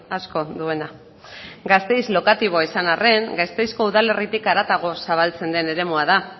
asko duena gasteiz lokatiboa izan arren gasteizko udalerritik haratago zabaltzen den eremua da